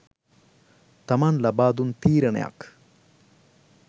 තමන් ලබාදුන් තීරණයක්